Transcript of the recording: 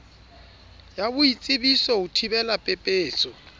ya boitsebiso ho thibela pepeso